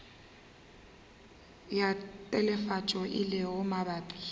ya telefatšo e lego mabapi